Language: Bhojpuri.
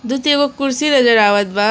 एगो कुर्सी नजर आवत बा।